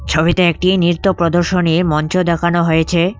ছবিতে একটি নৃত্য প্রদর্শনীর মঞ্চ দেখানো হয়েছে।